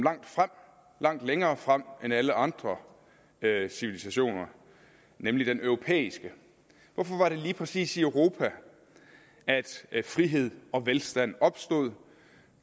langt længere frem end alle andre civilisationer nemlig den europæiske hvorfor var det lige præcis i europa at frihed og velstand opstod